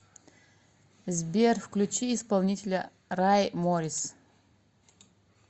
сбер включи исполнителя рай моррис